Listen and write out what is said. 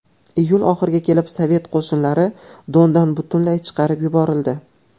Iyul oxiriga kelib sovet qo‘shinlari Dondan butunlay chiqarib yuborildi.